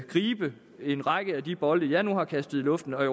gribe en række af de bolde jeg nu har kastet i luften